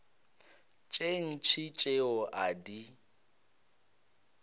tše ntši tšeo a di